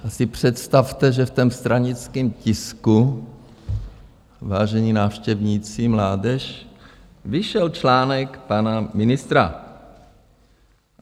Tak si představte, že v tom stranickém tisku, vážení návštěvníci, mládeži , vyšel článek pana ministra.